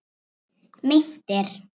Meintir